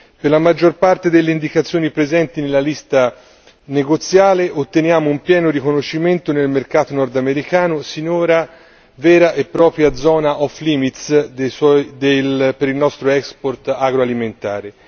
Per la maggior parte delle indicazioni presenti nella lista negoziale otteniamo un pieno riconoscimento nel mercato nordamericano, sinora vera e propria zona off limits per il nostro export agroalimentare.